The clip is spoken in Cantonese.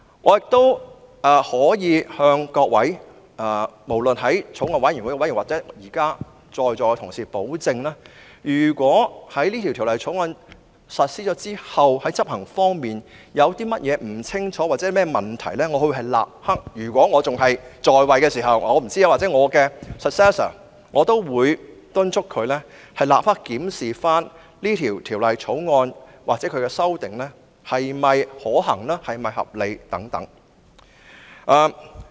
我可以向法案委員會委員或在座同事保證，如果在實施《條例草案》後，在執行方面有任何不清楚之處或問題，我會——如果我仍然擔任議員——或敦促我的繼任人立刻檢視《條例草案》的修訂是否可行或合理。